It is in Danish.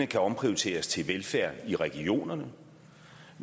kan omprioriteres til velfærd i regionerne